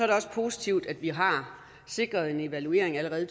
det også positivt at vi har sikret en evaluering allerede i